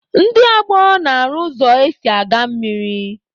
Ndị ọgbọ na-arụ ụzọ esi aga mmiri.